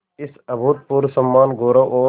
इस अभूतपूर्व सम्मानगौरव और